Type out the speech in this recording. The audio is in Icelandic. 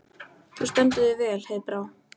Þú stendur þig vel, Heiðbrá!